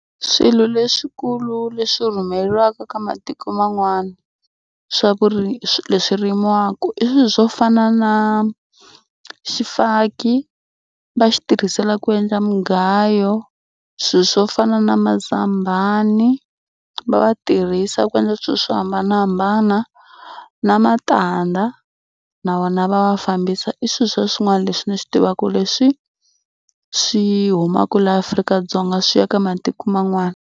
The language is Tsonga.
Swilo leswikulu leswi rhumeriwaka ka matiko man'wana swa swi leswi rimiwaka i swo fana na xifaki va xi tirhisela ku endla mugayo. Swilo swo fana na mazambani va va tirhisa ku endla swilo swo hambanahambana na matandza na wona va wa fambisa. I swilo swa swin'wana leswi ni swi tivaka leswi swi humaka laha Afrika-Dzonga swi ya ka matiko man'wana.